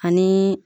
Ani